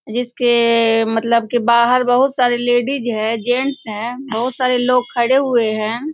जिसके मतलब की बाहर बहुत सारे लेडीज हैं जेंट्स हैं। बहुत सारे लोग खड़े हुए हैं।